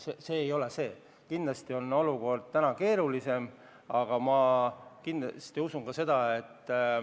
Meie probleem ei ole nii lihtne, olukord on kindlasti keerulisem.